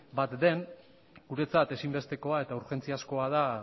bat den guretzat ezinbestekoa eta urgentziazkoa da